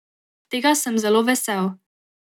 Tega sem zelo vesel.